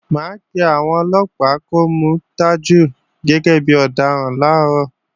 Mà á pé àwọn Ọlọ́pàá kó mú Tajú gẹ́gẹ́ bí ọ̀daràn làárọ̀